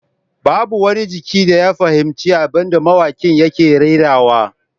Babu wani jiki da ya fahimci abin da mawakin yake rerawa